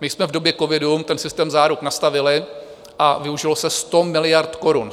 My jsme v době covidu ten systém záruk nastavili a využilo se 100 miliard korun.